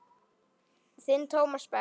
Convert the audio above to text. Þinn Tómas Berg.